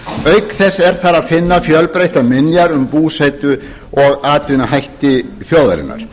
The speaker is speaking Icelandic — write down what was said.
auk þess er þar að finna fjölbreyttar minjar um búsetu og atvinnuhætti þjóðarinnar í